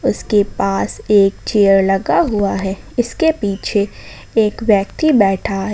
उसके पास एक चेयर लगा हुआ है इसके पीछे एक व्यक्ति बैठा है।